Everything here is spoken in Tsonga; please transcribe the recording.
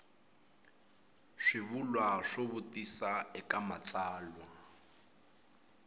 swivulwa swo vutisa eka matsalwa